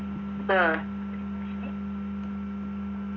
ആ